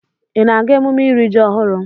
Ị na-aga emume iri ji ọhụrụ?